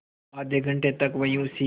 आधे घंटे तक वहीं उसी